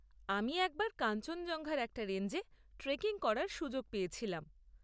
আমি একবার কাঞ্চনজঙ্ঘার একটা রেঞ্জে ট্রেকিং করার সুযোগ পেয়েছিলাম।